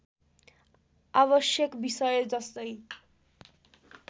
आवश्यक विषय जस्तै